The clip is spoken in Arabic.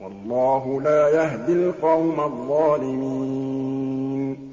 وَاللَّهُ لَا يَهْدِي الْقَوْمَ الظَّالِمِينَ